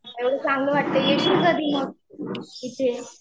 एवढं चांगलं वाटतं कीयेशील कधी मग इथे